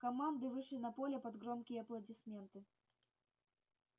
команды вышли на поле под громкие аплодисменты